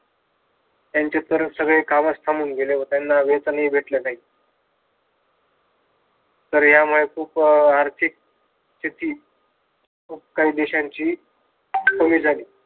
त्यांचे सर्व कामही थांबून गेले व त्यांना वेतनही भेटलं नाही तर यामुळे खूप आर्थिक स्तिथी खूप काही देशांची कमी झाली.